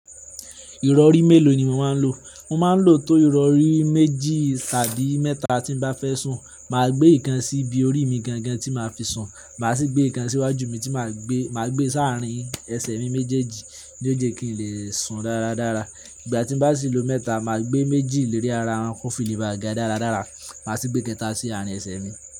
Ìrọ̀rí mélòó ni mo máa ń lò? Mo máa ń lò tó ìrọ̀rí méjì tàbí mẹ́ta tí n bá fẹ́ sùn. Máa gbé ìkan sí ibi orí mi gangan tí máa fi sùn. Màá sì gbé ìkan síwájú mi tí máa gbé, máa gbé sáàrín ẹsẹ̀ mi méjèèjì ní ó jé kí n lè sùn dáradára. Ìgbà tí n bá sì lò mẹ́ta, màá gbé méjì lérí ara won kọ́fili le bá ga dáradára. Màá sì gbé kẹta sí àárín ẹsẹ̀ mi.